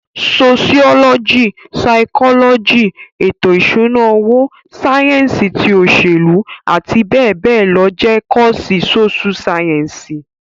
Soṣiọlọji, saikọlọji, eto ìṣúná owó, sáyẹ́ǹsì ti òṣèlú àti bẹẹ bẹẹ lọ jẹ́ kọ́ọ̀sì Sóṣú sáyẹ́ǹsì